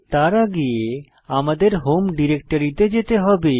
তার আগে আমাদের হোম ডিরেক্টরিতে যেতে হবে